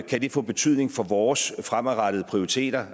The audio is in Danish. kan det få betydning for vores fremadrettede prioriteringer